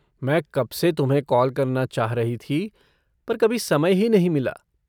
मैं कब से तुम्हें कॉल करना चाह रही थी पर कभी समय ही नहीं मिला।